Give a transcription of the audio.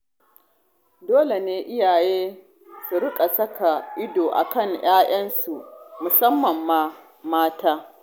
Dole ne iyaye su riƙa saka ido a kan 'ya'yansu, musamman ma mata.